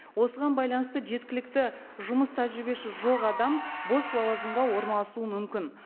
осыған байланысты жеткілікті жұмыс тәжірибесі жоқ адам бос лауазымға орналасуы мүмкін